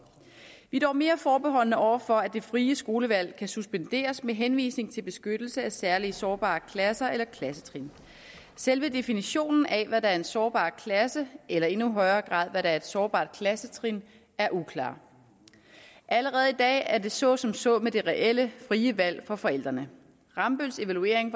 vi er dog mere forbeholdne over for at det frie skolevalg kan suspenderes med henvisning til beskyttelse af særligt sårbare klasser eller klassetrin selve definitionen af hvad der er en sårbar klasse eller i endnu højere grad hvad der er et sårbart klassetrin er uklar allerede i dag er det så som så med det reelle frie valg for forældrene rambølls evaluering